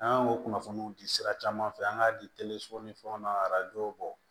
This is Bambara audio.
An y'o kunnafoniw di sira caman fɛ an k'a di ni fɛnw na arajo bɔ